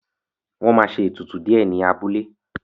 Wọ́n ma ṣe ètùtù díẹ̀ ní abúlé